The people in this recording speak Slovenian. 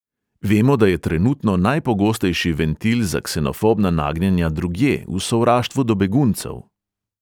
Vemo, da je trenutno najpogostejši ventil za ksenofobna nagnjenja drugje, v sovraštvu do beguncev.